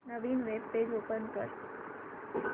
नवीन web page open कर